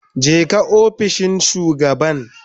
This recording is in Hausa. Jeka ofishin shugaban